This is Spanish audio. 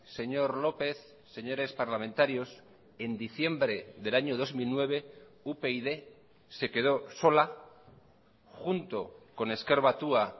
señor lópez señores parlamentarios en diciembre del año dos mil nueve upyd se quedó sola junto con ezker batua